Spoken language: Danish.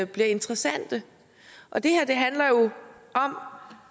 bliver interessante og det her